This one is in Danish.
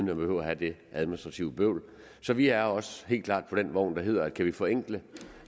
man behøver at have det administrative bøvl så vi er også helt klart med på den vogn der hedder at kan vi forenkle